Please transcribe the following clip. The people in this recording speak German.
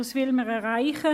Was will man erreichen?